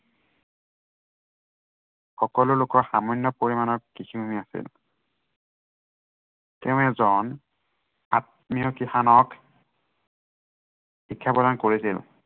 সকলো লোকৰ সামান্য় পৰিমানৰ কৃষি ভূমি আছিল। তেওঁ এজন, আত্মীয় কৃষানক শিক্ষা প্ৰদান কৰিছিল।